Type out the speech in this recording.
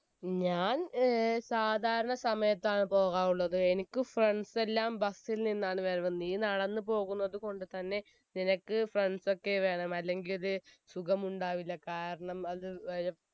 ഞാൻ ഏർ സാധാരണ സമയത്താണ് പോകാറുള്ളത് എനിക്ക് friends എല്ലാം bus ൽ നിന്നാണ് വരവ് നീ നടന്നു പോകുന്നത് കൊണ്ടുതന്നെ നിനക്ക് friends ഒക്കെ വേണം അല്ലെങ്കിൽ സുഖമുണ്ടാകില്ല കാരണം അത് വേ